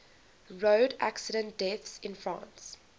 road accident deaths in france